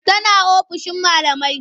Tana ofishin malamai.